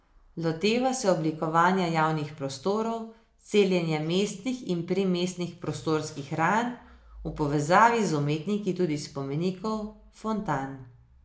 Loteva se oblikovanja javnih prostorov, celjenja mestnih in primestnih prostorskih ran, v povezavi z umetniki tudi spomenikov, fontan ...